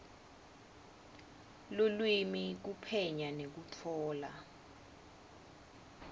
lulwimi kuphenya nekutfola